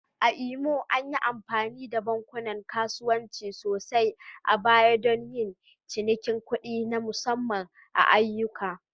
A Imo, an yi amfani da bankunan kasuwanci sosai a baya don yin cinikin kuɗi na musamman da ayyuka?